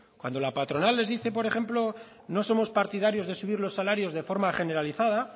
cuando la patronal les dice por ejemplo no somos partidarios de subir los salarios de forma generalizada